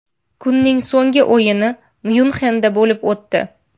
Kunning so‘nggi o‘yini Myunxenda bo‘lib o‘tdi.